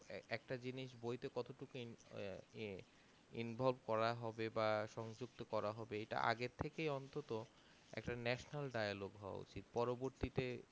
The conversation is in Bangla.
একটা জিনিস বইতে কত টুকু আহ এ involve করা হবে বা সংযুক্তকরা হবে এটা আগের থেকে অন্তত একটা National-dialogue হওয়ার উচিত পরবর্তীতে